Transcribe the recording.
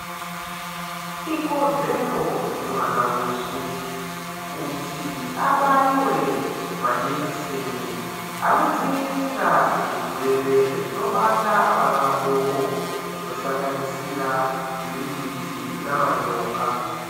Ikodzero yemwana weshe kuti abaiwe majekiseni anodzivirira zvirwere zvinobata vana vadoko zvinosanganisira gwirikwiti namanyoka.